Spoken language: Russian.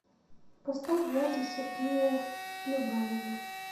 поставь влади сергея любавина